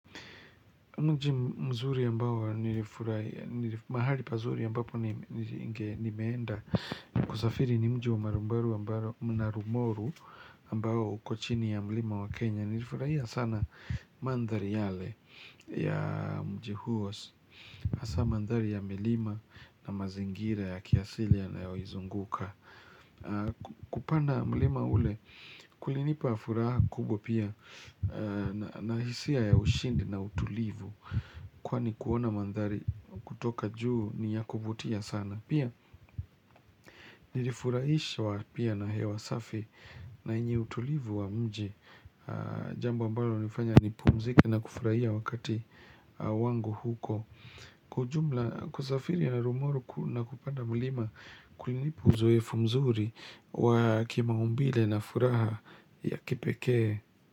Mnji mzuri ambao nilifurahia, mahali pazuri ambapo nimeenda, kusafiri ni mji wa Naro Moru ambao Naro Moru ambao ukochini ya mlima wa Kenya, nilifurahia sana mandhari yale ya mji huo, hasa mandhari ya milima na mazingira ya kiasilia yanayoizunguka. Kupanda mlima ule kulinipa furaha kubwa pia Nahisia ya ushindi na utulivu Kwani kuona mandhari kutoka juu ni ya kuvutia sana. Pia nilifuraishwa pia na hewa safi. Na yenye utulivu wa mji. Jambo ambalo linanifanya nipumzike na kufurahia wakati wangu huko Kwa ujumla kusafiri ya Naro Moro na kupanda mlima kulinipa uzoefu mzuri wa ki maumbile na furaha ya kipekee.